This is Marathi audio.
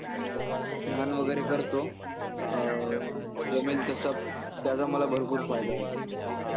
ध्यान वगैरे करतो. अं जमेल तसं. त्याचा मला भरपूर फायदा होतो.